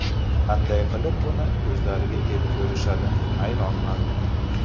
Qanday qilib buni o‘zlariga ep ko‘rishadi, hayronman.